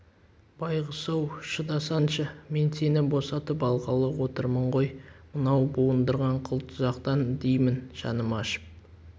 байғұс-ау шыдасаңшы мен сені босатып алғалы отырмын ғой мынау буындырған қыл тұзақтан деймін жаным ашып